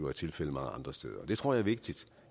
er tilfældet mange andre steder det tror jeg er vigtigt